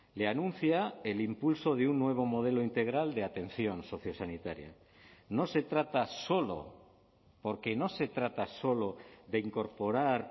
le anuncia el impulso de un nuevo modelo integral de atención sociosanitaria no se trata solo porque no se trata solo de incorporar